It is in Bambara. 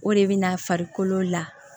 O de bɛ na farikolo la